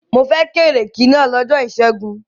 Mo fẹ́ kéékì náà lọ́jọ́ ìṣẹ́gun.